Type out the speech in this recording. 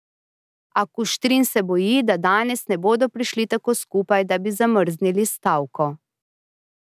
A Kuštrin se boji, da danes ne bodo prišli tako skupaj, da bi zamrznili stavko.